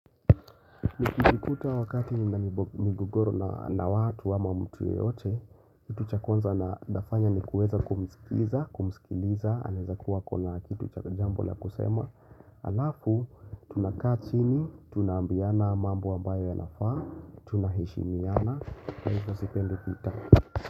Nikijikuta wakati nina migogoro na watu ama mtu yeyote Kitu cha kwanza nafanya ni kuweza kumisikiliza Kumisikiliza, anaeza kuwa akona kitu chakajambo la kusema Alafu, tunakaa chini, tunaambiana mambo ambayo ya nafaa Tunaheshimiana, kwa hivyo sipendi vita.